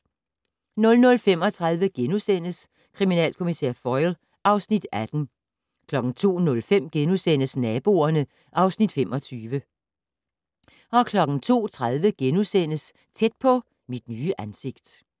00:35: Kriminalkommissær Foyle (Afs. 18)* 02:05: Naboerne (Afs. 25)* 02:30: Tæt på: Mit nye ansigt *